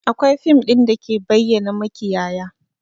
Akwai fim ɗin da ke bayyana makiyaya